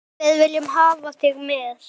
Við viljum hafa þig með.